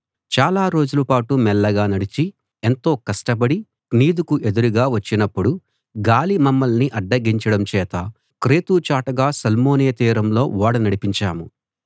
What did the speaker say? చాలా రోజుల పాటు మెల్లగా నడిచి ఎంతో కష్టపడి క్నీదుకు ఎదురుగా వచ్చినప్పుడు గాలి మమ్మల్ని అడ్డగించడం చేత క్రేతు చాటుగా సల్మోనే తీరంలో ఓడ నడిపించాము